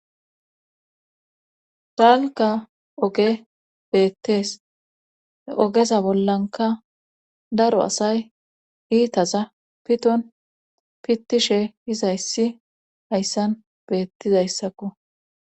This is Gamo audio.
Hegankka oogey bettees oogeza bollanka daro asay iittaza piton pittishe dizayssi hayssan beettizayssakko